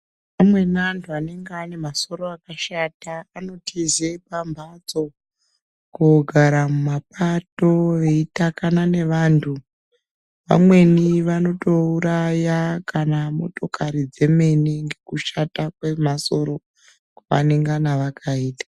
Amweni antu anenge ane masoro akashata anotize pamhatso, kogara mumapato veitakana nevantu. Vamweni vanotouraya kana motokori dzemene ngekushata kwemasoro kwevanengana vakaita.